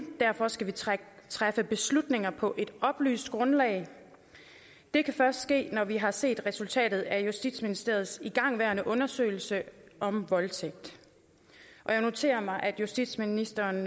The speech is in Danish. derfor skal vi træffe beslutninger på et oplyst grundlag det kan først ske når vi har set resultatet af justitsministeriets igangværende undersøgelse om voldtægt og jeg noterer mig at justitsministeren